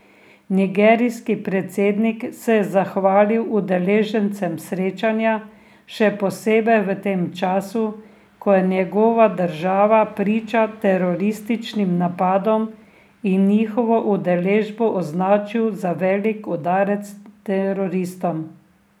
Nigerijski predsednik se je zahvalil udeležencem srečanja, še posebej v tem času, ko je njegova država priča terorističnim napadom, in njihovo udeležbo označil za velik udarec teroristom.